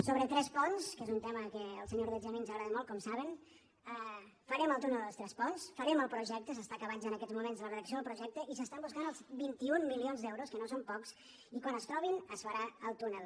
sobre tresponts que és un tema que al senyor or·deig i a mi ens agrada molt com saben farem el tú·nel dels tresponts farem el projecte s’està acabant ja en aquests moments la redacció del projecte i s’estan buscant els vint un milions d’euros que no són pocs i quan es trobin es farà el túnel